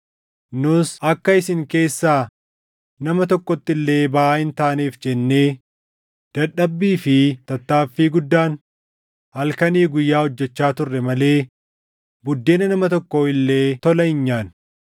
nus akka isin keessaa nama tokkotti illee baʼaa hin taaneef jennee, dadhabbii fi tattaaffii guddaan halkanii guyyaa hojjechaa turre malee buddeena nama tokkoo illee tola hin nyaanne.